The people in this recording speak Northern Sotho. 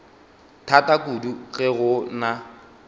thata kudu ge go na